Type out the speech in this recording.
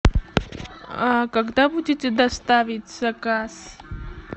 когда будете доставить заказ